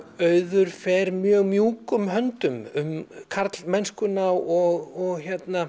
auður fer mjög mjúkum höndum um karlmennskuna og